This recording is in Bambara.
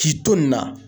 K'i to nin na